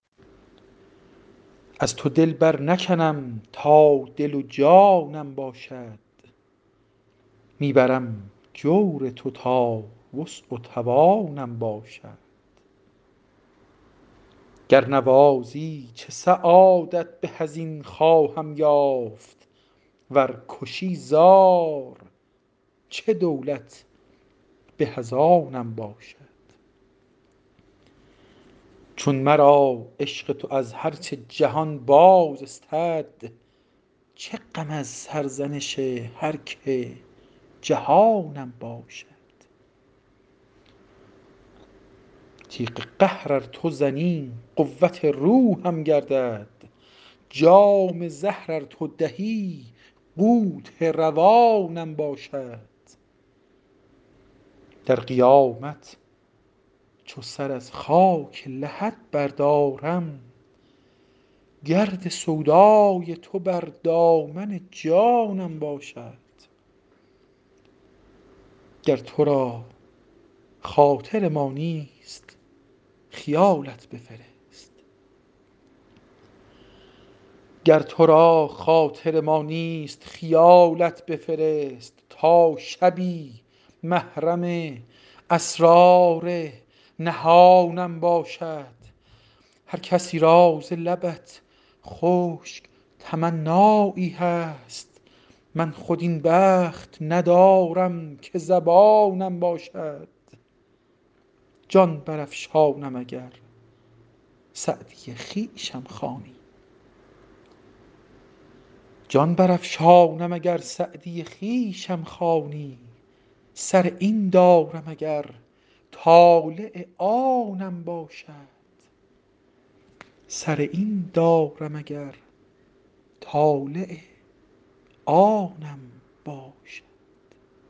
از تو دل برنکنم تا دل و جانم باشد می برم جور تو تا وسع و توانم باشد گر نوازی چه سعادت به از این خواهم یافت ور کشی زار چه دولت به از آنم باشد چون مرا عشق تو از هر چه جهان باز استد چه غم از سرزنش هر که جهانم باشد تیغ قهر ار تو زنی قوت روحم گردد جام زهر ار تو دهی قوت روانم باشد در قیامت چو سر از خاک لحد بردارم گرد سودای تو بر دامن جانم باشد گر تو را خاطر ما نیست خیالت بفرست تا شبی محرم اسرار نهانم باشد هر کسی را ز لبت خشک تمنایی هست من خود این بخت ندارم که زبانم باشد جان برافشانم اگر سعدی خویشم خوانی سر این دارم اگر طالع آنم باشد